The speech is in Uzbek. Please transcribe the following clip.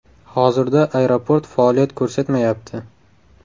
Hozirda aeroport faoliyat ko‘rsatmayapti.